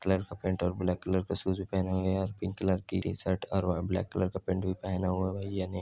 colour का pant और black colour का शूज भी पहने हुए है पिंक कलर की टी-शर्ट और ब्लैक कलर का पैंट भी पहना हुआ है भाई--